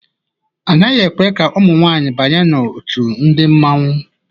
A naghị ekwe ka ụmụ nwaanyị banye n'òtù ndi mmanwu.